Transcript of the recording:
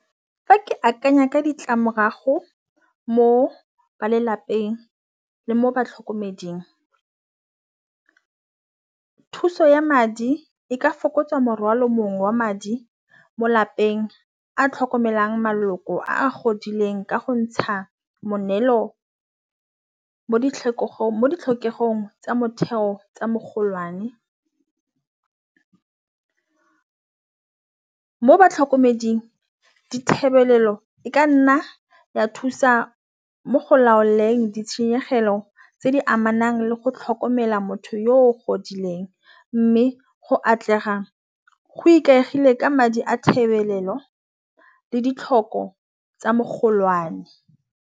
Fa ke akanya ka ditlamorago mo ba lelapeng le mo batlhokomeding, thuso ya madi e ka fokotsa morwalo mong wa madi mo lapeng a tlhokomelang maloko a godileng ka go ntsha moneelo mo ditlhokego tsa motheo tsa mogolwane, mo batlhokomeding dithebolelo e ka nna ya thusa mo go laoleng ditshenyegelo tse di amanang le go tlhokomela motho yo godileng, mme go atlega go ikaegile ka madi a tebelelo le ditlhoko tsa mogolwane.